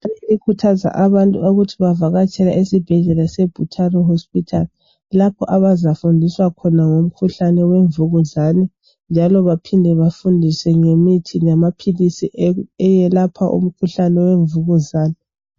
Ikhuthaza abantu ukuthi bavakatsele isibhendlela seButaro hospital lapho abazafundiswa khona ngomkhuhlane wemvukuzane njalo baphinde bafundiswe ngemithi lamaphilisi ayelapha umkhuhlane wemvukuzane .